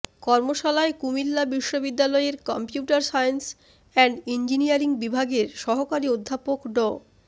কর্মশালায় কুমিল্লা বিশ্ববিদ্যালয়ের computer science and engineering বিভাগের সহকারী অধ্যাপক ড